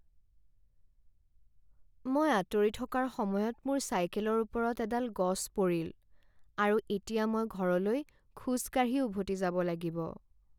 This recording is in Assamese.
মই আঁতৰি থকাৰ সময়ত মোৰ চাইকেলৰ ওপৰত এডাল গছ পৰিল, আৰু এতিয়া মই ঘৰলৈ খোজ কাঢ়ি উভতি যাব লাগিব।